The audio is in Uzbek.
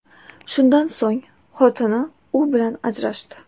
Shundan so‘ng xotini u bilan ajrashdi.